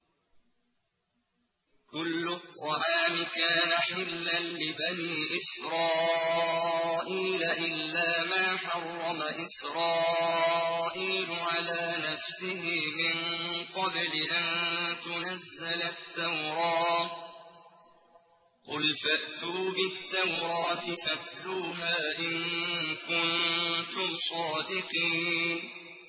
۞ كُلُّ الطَّعَامِ كَانَ حِلًّا لِّبَنِي إِسْرَائِيلَ إِلَّا مَا حَرَّمَ إِسْرَائِيلُ عَلَىٰ نَفْسِهِ مِن قَبْلِ أَن تُنَزَّلَ التَّوْرَاةُ ۗ قُلْ فَأْتُوا بِالتَّوْرَاةِ فَاتْلُوهَا إِن كُنتُمْ صَادِقِينَ